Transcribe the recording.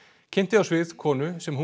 kynnti á svið konu sem hún